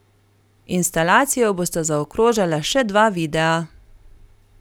Instalacijo bosta zaokrožala še dva videa.